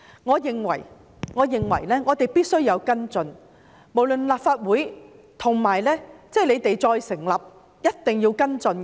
我認為我們必須跟進，無論是立法會、政府都一定要跟進。